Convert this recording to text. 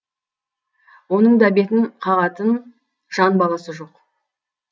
оның да бетін қағатын жан баласы жоқ